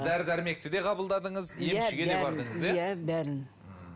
дәрі дәрмекті де қабылдадыңыз емшіге де бардыңыз иә бәрін ммм